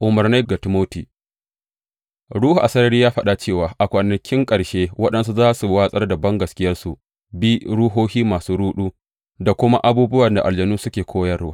Umarnai ga Timoti Ruhu a sarari ya faɗa cewa a kwanakin ƙarshe waɗansu za su watsar da bangaskiya su bi ruhohi masu ruɗu da kuma abubuwan da aljanu suke koyarwa.